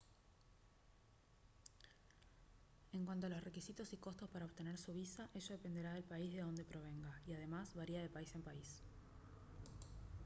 en cuanto a los requisitos y costos para obtener su visa ello dependerá del país de donde provenga y además varía de país en país